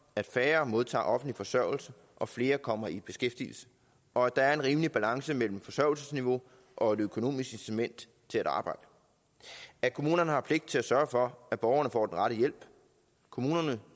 at færre modtager offentlig forsørgelse og flere kommer i beskæftigelse og at der er en rimelig balance mellem forsørgelsesniveau og økonomisk incitament til at arbejde at kommunerne har pligt til at sørge for at borgerne får den rette hjælp og at kommunerne